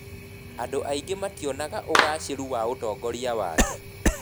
Andũ aingĩ mationaga ũgaacĩru wa ũtongoria wake.